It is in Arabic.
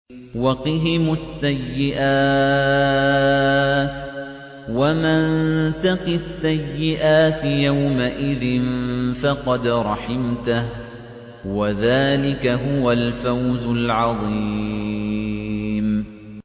وَقِهِمُ السَّيِّئَاتِ ۚ وَمَن تَقِ السَّيِّئَاتِ يَوْمَئِذٍ فَقَدْ رَحِمْتَهُ ۚ وَذَٰلِكَ هُوَ الْفَوْزُ الْعَظِيمُ